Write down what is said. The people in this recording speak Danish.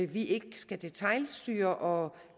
vi ikke skal detailstyre og